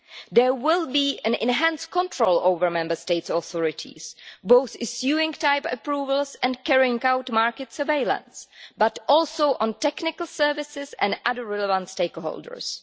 There will be enhanced control over Member States' authorities, both issuing type approvals and carrying out market surveillance, as well as technical services and other relevant stakeholders.